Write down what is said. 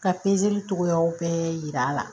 Ka cogoyaw bɛɛ yir'a la